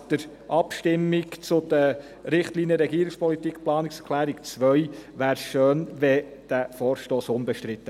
Nach der Abstimmung über die Planungserklärung 2 zu den Richtlinien der Regierungspolitik wäre es schön, dieser Vorstoss wäre unbestritten.